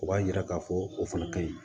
O b'a yira k'a fɔ o fana ka ɲi